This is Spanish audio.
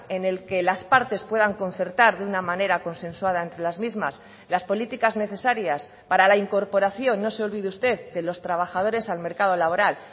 en el que las partes puedan concertar de una manera consensuada entre las mismas las políticas necesarias para la incorporación no se olvide usted de los trabajadores al mercado laboral